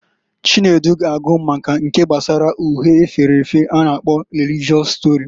Chude ga agụ maka nke gbasara uhe efere efe a na-akpo religịọs stori.